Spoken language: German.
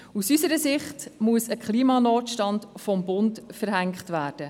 Aus unserer Sicht muss ein Klimanotstand vom Bund verhängt werden.